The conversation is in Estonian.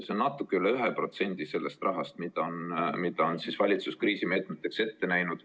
See on natuke üle 1% kogu sellest rahast, mille valitsus on kriisimeetmeteks ette näinud.